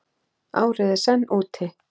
Árið er senn úti.